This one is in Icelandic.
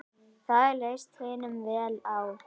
Það leist hinum vel á.